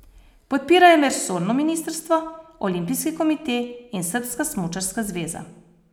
Podpirajo me resorno ministrstvo, olimpijski komite in srbska smučarska zveza.